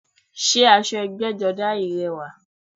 Sé aṣọ ẹgbẹ́jọdá yìí rẹwà?